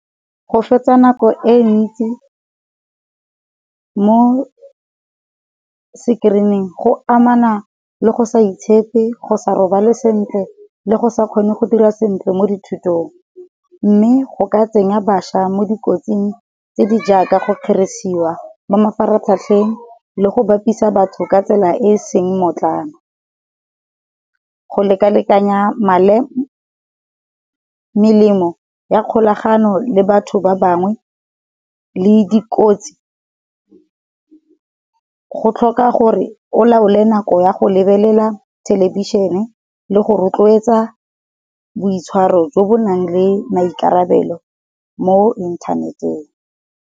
Go fetsa nako e ntsi mo sekerineng go amana le go sa itshepe, go sa robale sentle, le go sa kgone go dira sentle mo dithutong. Mme go ka tsenya bašwa mo dikotsing tse di jaaka go kgerisiwa mo mafaratlhatlheng le go bapisa batho ka tsela e e seng mmotlana. Go lekalekanya melemo ya kgolagano le batho ba bangwe le di kotsi. Go tlhoka gore o laole nako ya go lebelela thelebišene le go rotloetsa boitshwaro jo bo nang le maikarabelo mo inthaneteng.